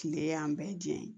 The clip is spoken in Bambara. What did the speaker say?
Kile y'an bɛɛ jɛn ye